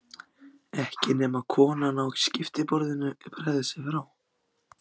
Ekki nema konan á skiptiborðinu bregði sér frá.